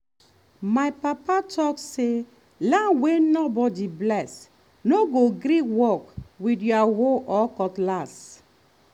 my papa talk say land wey nobody bless no go gree work with your hoe or cutlass.